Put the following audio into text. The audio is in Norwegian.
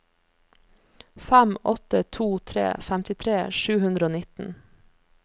fem åtte to tre femtitre sju hundre og nitten